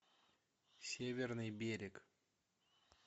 северный берег